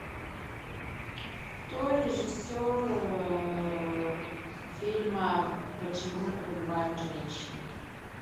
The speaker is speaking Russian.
кто режиссер фильма почему убивают женщины